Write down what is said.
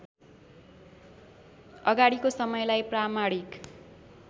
अगाडिको समयलाई प्रामाणिक